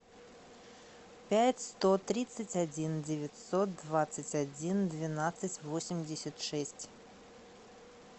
пять сто тридцать один девятьсот двадцать один двенадцать восемьдесят шесть